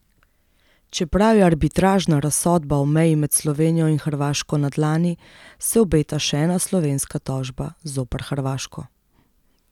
Čeprav je arbitražna razsodba o meji med Slovenijo in Hrvaško na dlani, se obeta še ena slovenska tožba zoper Hrvaško.